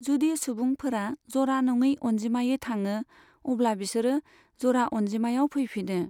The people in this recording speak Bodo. जुदि सुबंफोरा जरा नङै अनजिमायै थाङो, अब्ला बिसोरो जरा अनजिमायाव फैफिनो।